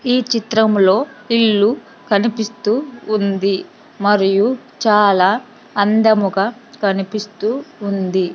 ఈ చిత్రంలో ఇల్లు కనిపిస్తూ ఉంది మరియు చాలా అందముగా కనిపిస్తూ ఉంది.